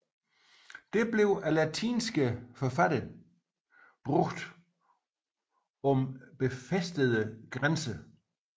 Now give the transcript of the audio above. Det blev af latinske forfattere brugt om befæstede grænser